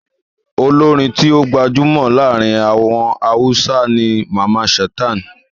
Olórin tí ó gbajúmọ̀ láàrin àwọn Hausa ni Mamman Shata.